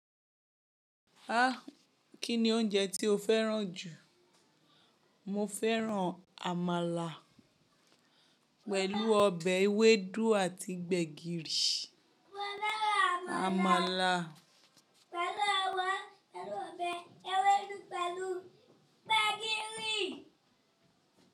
Ah! Kí ni oúnjẹ tí o fẹ́ràn jù? Mo fẹ́ràn àmàlà pẹ̀lú ọbẹ̀ ewédú àti gbẹ̀gìrì. Àmàlà. Pẹ̀lú ọbẹ̀ ewédú pẹ̀lú gbẹ̀gìrì.